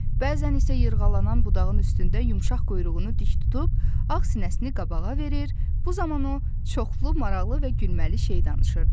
Bəzən isə yırğalanan budağın üstündə yumşaq quyruğunu dik tutub, ağ sinəsini qabağa verir, bu zaman o çoxlu maraqlı və gülməli şey danışırdı.